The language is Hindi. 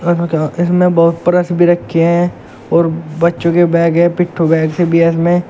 इसमे बहुत ब्रश भी रखे हैं और बच्चों के बैग हैं पिठू बैग से भी है इसमें।